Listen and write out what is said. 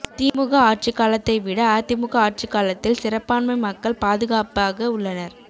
திமுக ஆட்சிக்காலத்தை விட அதிமுக ஆட்சிக்காலத்தில் சிறுபான்மை மக்கள் பாதுகாப்பாக உள்ளனர்